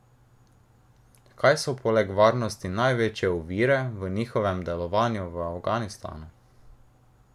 Kaj so poleg varnosti največje ovire v njihovem delovanju v Afganistanu?